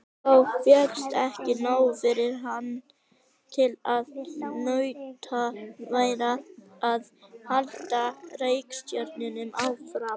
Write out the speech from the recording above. Þá fékkst ekki nóg fyrir hann til að unnt væri að halda rekstrinum áfram.